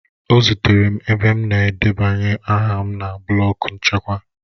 Ọ zutere m ebe m na-edebanye aha m na blọk nchịkwa